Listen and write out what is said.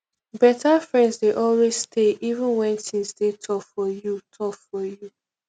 beta friends dey always stay even wen things dey tough for you tough for you